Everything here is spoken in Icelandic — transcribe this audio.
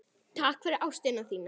Takk fyrir ástina þína.